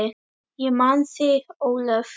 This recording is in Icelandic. Ég man þig, Ólöf.